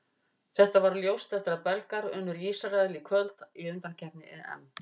Þetta varð ljóst eftir að Belgar unnu Ísrael í kvöld í undankeppni EM.